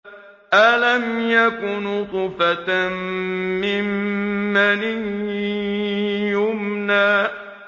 أَلَمْ يَكُ نُطْفَةً مِّن مَّنِيٍّ يُمْنَىٰ